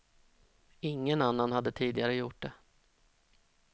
Ingen annan hade tidigare gjort det.